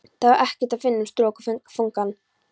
Þar var ekkert að finna um strokufangann.